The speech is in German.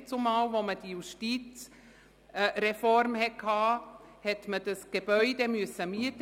Man musste damals, nach der Justizreform, das Gebäude mieten.